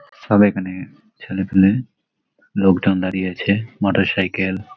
সব এখানে ছেলেপুলে লোকজন দাঁড়িয়ে আছে। মোটরসাইকেল --